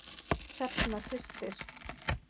Hrefna systir.